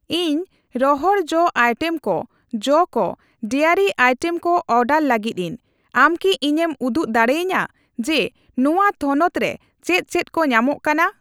ᱤᱧ ᱨᱚᱦᱚᱲ ᱡᱚ ᱟᱭᱴᱮᱢ ᱠᱚ, ᱡᱚ ᱠᱚ, ᱰᱟᱭᱨᱤ ᱟᱭᱴᱮᱢ ᱠᱚ ᱚᱰᱟᱨ ᱞᱟᱹᱜᱤᱫᱤᱧ, ᱟᱢ ᱠᱤ ᱤᱧᱮᱢ ᱩᱫᱩᱜ ᱫᱟᱲᱮᱭᱟᱧᱟ ᱡᱮ ᱱᱚᱣᱟ ᱛᱷᱚᱱᱚᱛ ᱨᱮ ᱪᱮᱫ ᱪᱮᱫ ᱠᱚ ᱧᱟᱢᱚᱜ ᱠᱟᱱᱟ ?